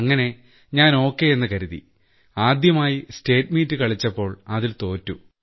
അങ്ങനെ ഞാൻ ഓക്കേ എന്ന് കരുതി ആദ്യമായി സ്റ്റേറ്റ്മീറ്റ് കളിച്ചപ്പോൾ അതിൽ തോറ്റു